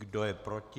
Kdo je proti?